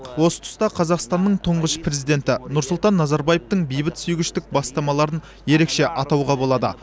осы тұста қазақстанның тұңғыш президенті нұрсұлтан назарбаевтың бейбітсүйгіштік бастамаларын ерекше атауға болады